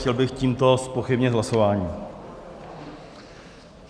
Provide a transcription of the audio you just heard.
Chtěl bych tímto zpochybnit hlasování.